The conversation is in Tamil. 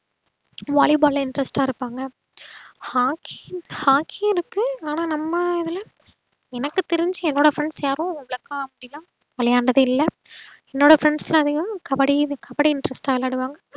valleyball ல interest ஆ இருப்பாங்க hockey hockey இருக்கு. ஆனா நம்ம இதுல எனக்கு தெரிஞ்சு என்னோட friends யாரும் இதுவரைக்கும் அப்டிலா விளையாண்டது இல்ல என்னோட friends ல எல்லாரும் கபடி கபடிதான் interest ஆ விளையாடுவாங்க.